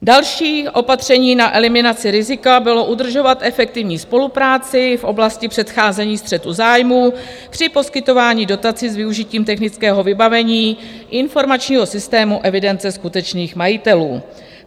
Další opatření na eliminaci rizika bylo udržovat efektivní spolupráci v oblasti předcházení střetu zájmů při poskytování dotací s využitím technického vybavení informačního systému evidence skutečných majitelů.